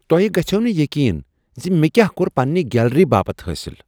تۄہہ گژھوہ نہٕ یقین ز مےٚ کیا کۄر پننہ گیلری باپتھ حٲصل۔